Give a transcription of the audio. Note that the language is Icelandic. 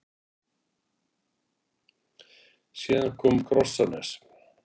Síðan kom Krossanes.